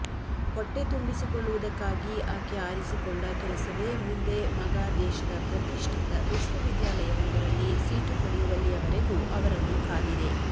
ಹೊಟ್ಟೆ ತುಂಬಿಸಿಕೊಳ್ಳುವುದಕ್ಕಾಗಿ ಆಕೆ ಆರಿಸಿಕೊಂಡ ಕೆಲಸವೇ ಮುಂದೆ ಮಗ ದೇಶದ ಪ್ರತಿಷ್ಠಿತ ವಿಶ್ವವಿದ್ಯಾಲಯವೊಂದಲ್ಲಿ ಸೀಟು ಪಡೆಯುವಲ್ಲಿಯವರೆಗೂ ಅವರನ್ನು ಕಾದಿದೆ